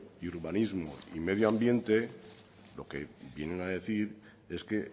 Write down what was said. y urbanismo y medio ambiente lo que vienen a decir es que